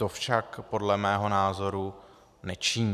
To však podle mého názoru nečiní.